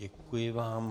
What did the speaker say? Děkuji vám.